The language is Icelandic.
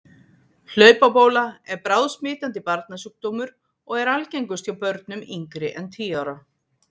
Hlaupabóla er bráðsmitandi barnasjúkdómur og er algengust hjá börnum yngri en tíu ára.